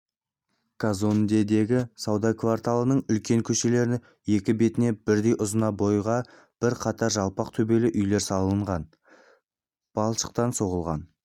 казондедегі сауда кварталының үлкен көшелерінің екі бетіне бірдей ұзына бойға бір қатар жалпақ төбелі үйлер салынған балшықтан соғылған